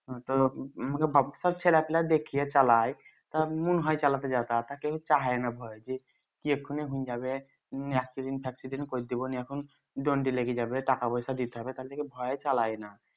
চালায় দন্ডি লেগে যাবে টাকা পয়সা দিতে হবে তার লিগে ভয়ে চালায়না